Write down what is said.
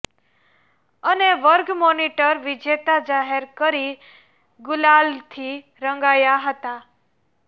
અને વર્ગ મોનીટર વીજેતા જાહેર કરી ગુલાલથી રંગાયા હતા